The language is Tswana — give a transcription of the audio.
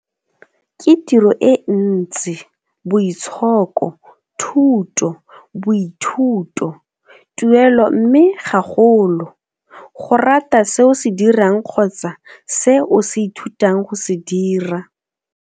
Ke tiro e ntsi, boitshoko, thuto, boithuto, tuelo mme gagolo, go rata se o se dirang kgotsa se o se ithutang go se dira.